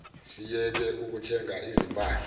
siyeke ukuthenga izimpahla